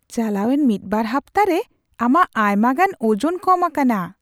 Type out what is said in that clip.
ᱪᱟᱞᱟᱣᱮᱱ ᱢᱤᱫ ᱵᱟᱨ ᱦᱟᱯᱛᱟ ᱨᱮ ᱟᱢᱟᱜ ᱟᱭᱢᱟᱜᱟᱱ ᱳᱡᱚᱱ ᱠᱚᱢ ᱟᱠᱟᱱᱟ !